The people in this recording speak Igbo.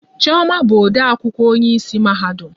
Chioma bụ ode akwụkwọ onye isi mahadum